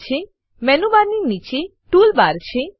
menu bar menu bar ની નીચે tool bar tool bar છે